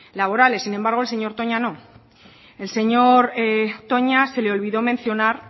laborales sin embargo el señor toña no el señor toña se le olvidó mencionar